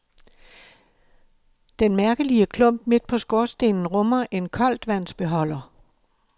Den mærkelige klump midt på skorstenen rummer en koldtvandsbeholder.